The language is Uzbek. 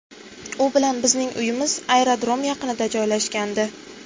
U bilan bizning uyimiz aerodrom yaqinida joylashgandi.